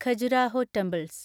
Khajuraho temples